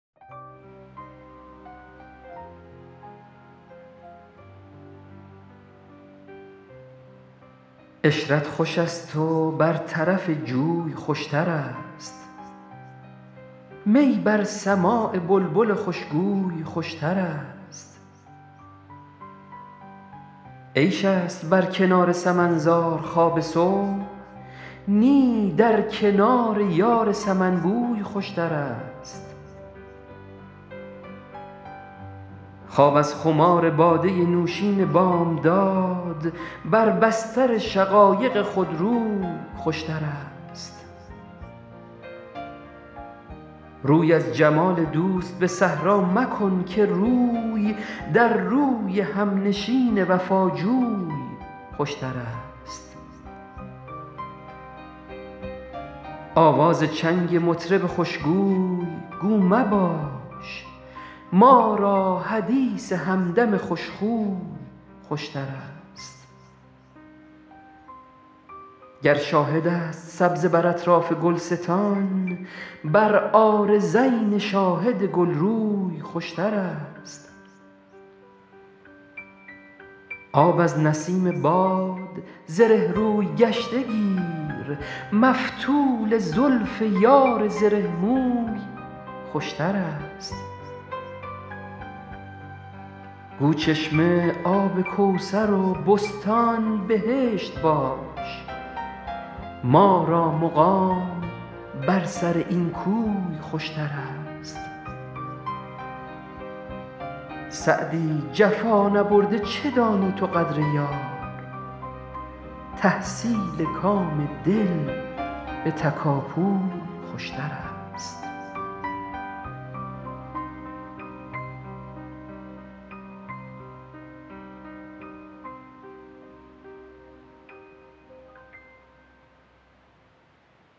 عشرت خوش است و بر طرف جوی خوشترست می بر سماع بلبل خوشگوی خوشترست عیش است بر کنار سمن زار خواب صبح نی در کنار یار سمن بوی خوشترست خواب از خمار باده نوشین بامداد بر بستر شقایق خودروی خوشترست روی از جمال دوست به صحرا مکن که روی در روی همنشین وفاجوی خوشترست آواز چنگ مطرب خوشگوی گو مباش ما را حدیث همدم خوشخوی خوشترست گر شاهد است سبزه بر اطراف گلستان بر عارضین شاهد گلروی خوشترست آب از نسیم باد زره روی گشته گیر مفتول زلف یار زره موی خوشترست گو چشمه آب کوثر و بستان بهشت باش ما را مقام بر سر این کوی خوشترست سعدی جفا نبرده چه دانی تو قدر یار تحصیل کام دل به تکاپوی خوشترست